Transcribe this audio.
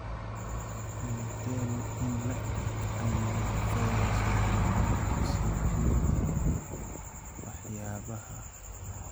Intee in le'eg ayuu fayraska corona ku sii jiri karaa waxyaabaha?